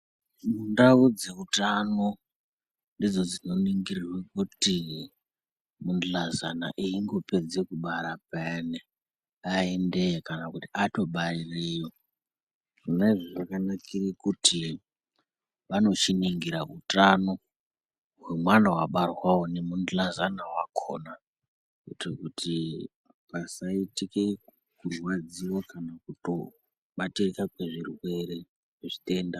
Ndau dzeutano ndidzo dzinoningirwa kuti mungilahlazana engopedza kubara payani aendeyo kana kuti ato. Zvona izvozvo zvakanakira kuti kuitira utano kwemwana wabatwa uwowo nemundahlazana wakona kuitira kuti pasaitike zvirwadziwo kana kuto bata zvirwere .